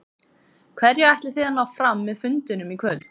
Hverju ætlið þið að ná fram með fundinum í kvöld?